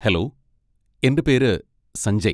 Hello, എന്റെ പേര് സഞ്ജയ്.